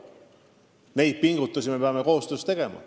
Neid pingutusi me peame koostöös tegema.